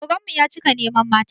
Oganmu ya cika neman mata